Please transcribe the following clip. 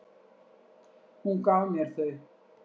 Hún gaf mér þau.